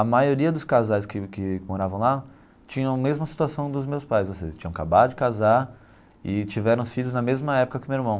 A maioria dos casais que que moravam lá tinham a mesma situação dos meus pais, ou seja, tinham acabado de casar e tiveram filhos na mesma época que o meu irmão.